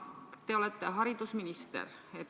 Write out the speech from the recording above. Te olete haridusminister.